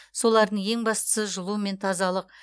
солардың ең бастысы жылу мен тазалық